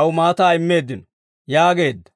aw maataa immeeddino» yaageedda.